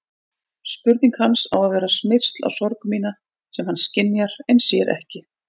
Spurning hans á að vera smyrsl á sorg mína sem hann skynjar en sér ekki.